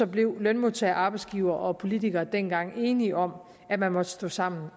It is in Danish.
blev lønmodtagere arbejdsgivere og politikere dengang enige om at man måtte stå sammen